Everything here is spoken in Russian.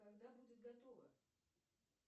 когда будет готова